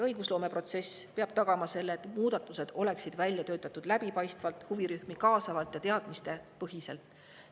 Õigusloomeprotsess peab tagama selle, et muudatused oleksid välja töötatud läbipaistvalt, huvirühmi kaasavalt ja teadmistepõhiselt.